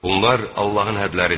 Bunlar Allahın hədləridir.